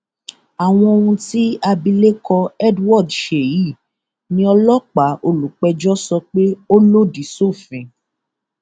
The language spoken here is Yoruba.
àwọn ohun tí abilékọ edward ṣe yìí ni ọlọpàá olùpẹjọ sọ pé ó lòdì sófin